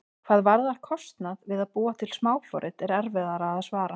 Hvað varðar kostnað við að búa til smáforrit er erfiðara að svara.